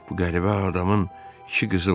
Bu qəribə adamın iki qızı var.